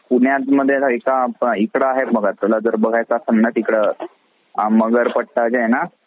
अ पुण्यात म्हणजे रहायचं इकडं आहे बघ तुला जर बघायचा असले तर तिकडं